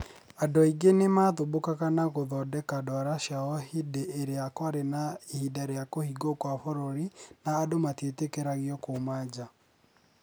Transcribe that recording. Andũ aingĩ nĩ maathumbũkaga na gũthondeka ndwara ciao hĩndĩ ĩrĩa kwarĩ na ihinda rĩa kũhingwo kwa bũrũri na andũ matietĩkĩragio kuuma njaa.